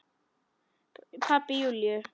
Pabbi Júlíu?